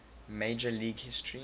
major league history